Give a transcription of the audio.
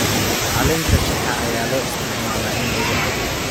Caleenta shaaha ayaa loo isticmaalaa in lagu cabbo.